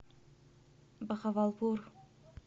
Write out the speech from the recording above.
бахавалпур